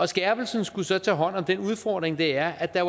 skærpelsen skulle så tage hånd om den udfordring det er at der